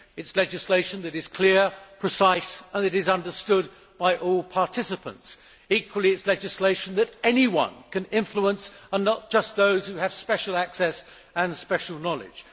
It is legislation that is clear, precise and that is understood by all participants. Equally, it is legislation that anyone can influence and not just those who have special access and special knowledge.